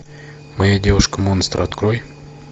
моя девушка монстр открой